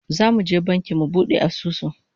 Zamu je banki mu bude asusu